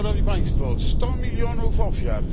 Sto milionów ofiar.